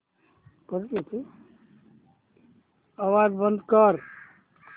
आवाज बंद कर